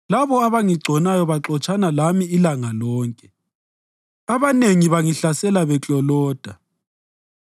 Labo abangigconayo baxotshana lami ilanga lonke; abanengi bangihlasela bekloloda.